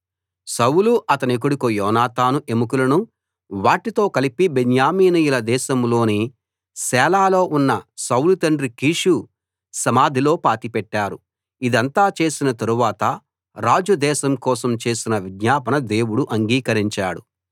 సౌలు అతని కొడుకు యోనాతాను ఎముకలను వాటితో కలిపి బెన్యామీనీయుల దేశంలోని సేలాలో ఉన్న సౌలు తండ్రి కీషు సమాధిలో పాతిపెట్టారు ఇదంతా చేసిన తరువాత రాజు దేశం కోసం చేసిన విజ్ఞాపన దేవుడు అంగీకరించాడు